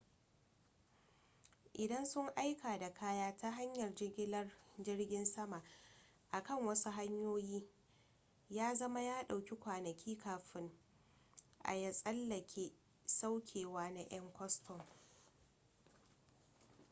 idan sun aika da kaya ta hanyar jigilar jirgin sama akan wasu hanyoyi ya zama ya dauki kwanaki kafin a ya tsallake saukewa na 'yan kwastam